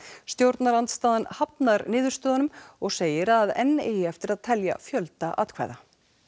stjórnarandstaðan hafnar niðurstöðunum og segir að enn eigi eftir að telja fjölda atkvæða